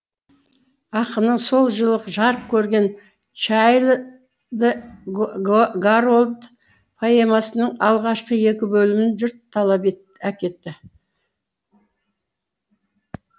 ақынның сол жылы жарық көрген чайльд гарольд поэмасының алғашқы екі бөлімін жұрт талап әкетті